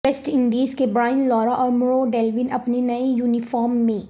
waste Indies کے Brian Lara اور Merv Dillon اپنے نئے یونیفارم میں